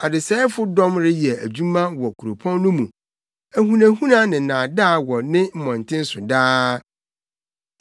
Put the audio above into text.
Adesɛefo dɔm reyɛ adwuma wɔ kuropɔn no mu. Ahunahuna ne nnaadaa wɔ ne mmɔnten so daa.